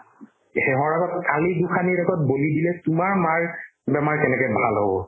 সেহৰ আগত কালি গোঁসানীৰ আগত বলি দিলে তোমাৰ মাৰ বেমাৰ কেনেকে ভাল হ'ব